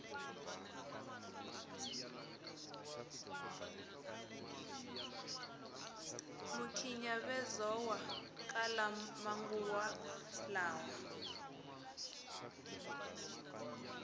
mikhinyavezowa kala manguva lawa